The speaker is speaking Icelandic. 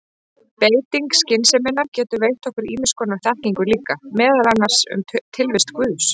Beiting skynseminnar getur veitt okkur ýmiss konar þekkingu líka, meðal annars um tilvist guðs.